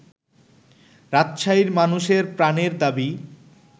রাজশাহীর মানুষের প্রাণের দাবি